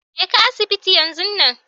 jeka asibiti yan zun nan.